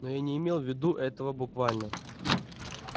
но я не имел в виду этого буквально